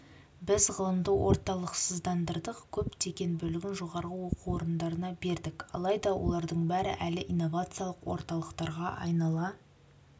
біз ғылымды орталықсыздандырдық көптеген бөлігін жоғары оқу орындарына бердік алайда олардың бәрі әлі инновациялық орталықтарға айнала